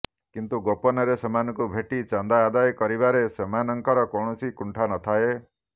କିନ୍ତୁ ଗୋପନରେ ସେମାନଙ୍କୁ ଭେଟି ଚାନ୍ଦା ଆଦାୟ କରିବାରେ ସେମାନଙ୍କର କୌଣସି କୁଣ୍ଠା ନଥାଏ